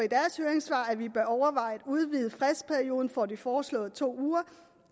at vi bør overveje at udvide fristperioden fra de foreslåede to uger